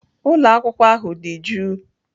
Ụlọ akwụkwọ ahụ dị jụụ.